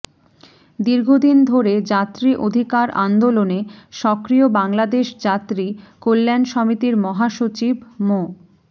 দীর্ঘদিন ধরে যাত্রী অধিকার আন্দোলনে সক্রিয় বাংলাদেশ যাত্রী কল্যাণ সমিতির মহাসচিব মো